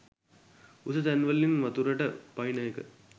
උස තැන්වලින් වතුරට පනින එක